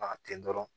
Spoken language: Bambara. Ma ten dɔrɔn